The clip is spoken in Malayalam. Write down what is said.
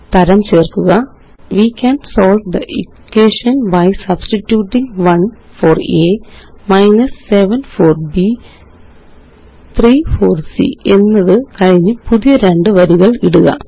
തരം ചേര്ക്കുക we can solve the equation by substituting 1 for a 7 for b 3 for c എന്നതു കഴിഞ്ഞ് പുതിയ രണ്ട് വരികള് ഇടുക